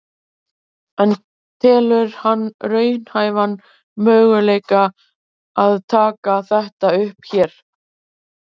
En telur hann raunhæfan möguleika að taka þetta upp hér?